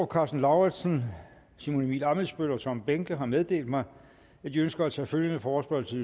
karsten lauritzen simon emil ammitzbøll og tom behnke har meddelt mig at de ønsker at tage følgende forespørgsel